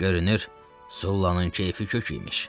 Görünür, Sullanın keyfi kök imiş.